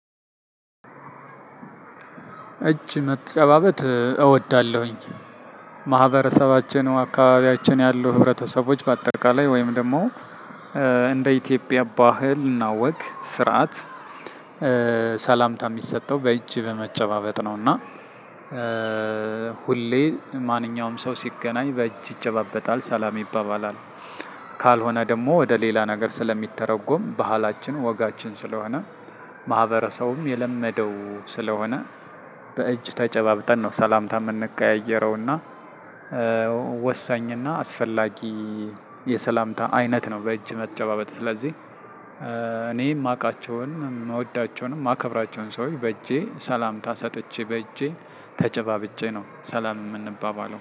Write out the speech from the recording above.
እጅ መጨባበት እወዳለሁኝ። ማህበረሰባችን አካባቢያችን ያሉ ህብረተሰቦች በአጠቃላይ ወይም ደግሞ እንደ ኢትዮጵያ ባህል እና ወግ ስርዓት ሰላምታ የሚሰጠው በእጅ በመጨባበጥ ነውና ሁሌ ማንኛውም ሰው ሲገናኝ በእጅ ይጨባበጣል ሰላም ይባባላል። ካልሆነ ደግሞ ወደ ሌላ ነገር ስለሚተረጎም ባህላችን ወጋችን ስለሆነ ማህበረሰቡም የለመደው ስለሆነ በእጅ ተጨባብጠን ነው ሰላምታ የምንቀያየረውና። ወሳኝና አስፈላጊ የሰላምታ አይነት ነው በእጅ መጨባበጥ። ስለዚህ እኔ የማውቃቸውን የምወዳቸውንም የማከብራቸውን ሰዎች በእጄ ሰላምታ ሰጥቼ በእጄ ተጨባብጬ ነው ሰላም የምንባባለው